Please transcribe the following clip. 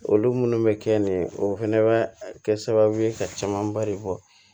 Olu munnu bɛ kɛ nin ye o fɛnɛ bɛ kɛ sababu ye ka camanba de bɔ